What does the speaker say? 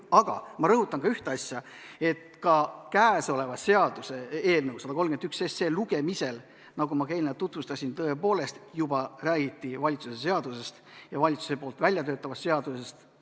Aga ma rõhutan ühte asja: ka seaduseelnõu 131 lugemisel, nagu ma eelnevalt tutvustasin, tõepoolest juba räägiti valitsuse seadusest, valitsuse väljatöötatavast seadusest.